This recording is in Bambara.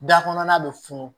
Da kɔnɔna bɛ funu